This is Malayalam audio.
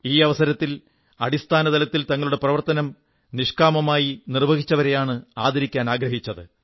ഈ അവസരത്തിൽ അടിസ്ഥാന തലത്തിൽ തങ്ങളുടെ പ്രവർത്തനം നിഷ്കാമമായി നിർവ്വഹിച്ചവരെയാണ് ആദരിക്കാനാഗ്രഹിച്ചത്